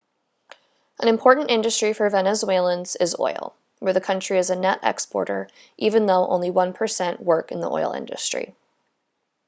an important industry for venezuelans is oil where the country is a net exporter even though only one percent work in the oil industry